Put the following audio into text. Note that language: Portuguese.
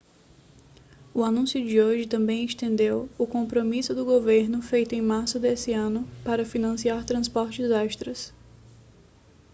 o anúncio de hoje também estendeu o compromisso do governo feito em março desse ano para financiar transportes extras